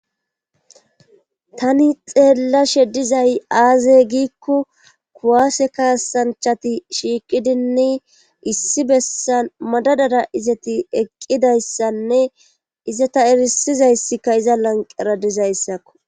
Tani xeellashe dizay aaze giiko kuwwase kaassanchati shiiqidinne issi bessan madadara izati eqqidayssanne izata erissizayssi iza lanqqera dizayssakko.